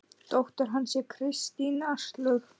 Dóttir hans er Kristín Áslaug.